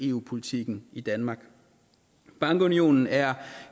eu politikken i danmark bankunionen er